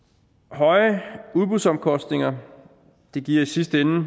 høje udbudsomkostninger giver i sidste ende